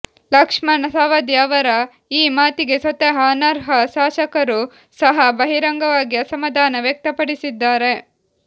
ಲಕ್ಷ್ಮಣ್ ಸವದಿ ಅವರ ಈ ಮಾತಿಗೆ ಸ್ವತಃ ಅನರ್ಹ ಶಾಸಕರೂ ಸಹ ಬಹಿರಂಗವಾಗಿ ಅಸಮಾಧಾನ ವ್ಯಕ್ತಪಡಿಸಿದ್ದಾರೆ